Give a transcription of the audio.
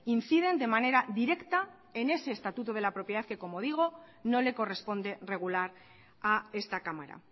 inciden de manera directa en ese estatuto de la propiedad que como digo no le corresponde regular a esta cámara